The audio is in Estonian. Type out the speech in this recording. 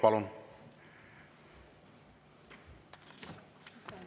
Palun!